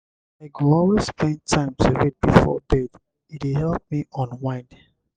i go always spend time to read before bed; e dey help me unwind.